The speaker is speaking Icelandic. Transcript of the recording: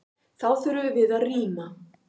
Þá þurftum við að rýma.